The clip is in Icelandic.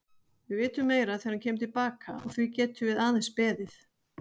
Við vitum meira þegar hann kemur til baka og því getum við aðeins beðið.